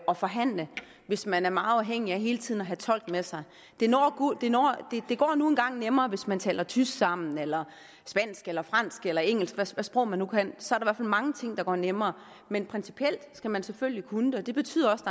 og forhandle hvis man er meget afhængig af hele tiden at have tolk med sig det går nu engang nemmere hvis man taler tysk sammen eller spansk eller fransk eller engelsk hvilke sprog man nu kan så er der mange ting der går nemmere men principielt skal man selvfølgelig kunne det og det betyder også